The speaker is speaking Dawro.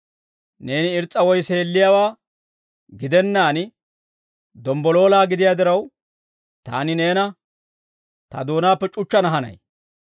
Neeni irs's'a woy seelliyaawaa gidennaan, dombboloola gidiyaa diraw, taani neena ta doonaappe c'uchchana hanay.